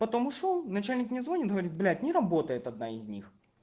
потому ушёл начальник мне звонит говорит блять не работает одна из них